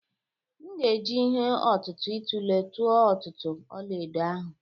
M ga-eji ihe ọ̀tụ̀tụ̀ itule tụọ ọ̀tụ̀tụ̀ ọlaedo ahụ.